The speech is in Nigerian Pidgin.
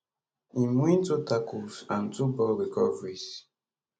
im win 2 tackles and 2 ball recoveries